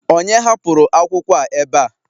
onye hapụrụ akwụkwọ a ebe a?